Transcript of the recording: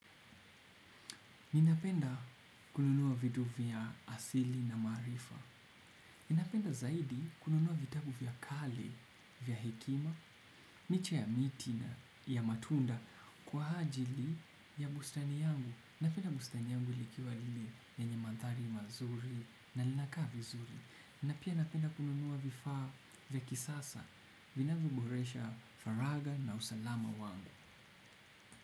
Ninapenda kununua vitu vya asili na maarifa ninapenda zaidi kununua vitabu vya kali vya hekima licha ya miti na ya matunda kwa ajili ya bustani yangu napenda bustani yangu likiwa lile lenye mandhari mazuri na linakaa vizuri na pia napenda kununua vifaa vya kisasa vinavyoboresha faragha na usalama wangu.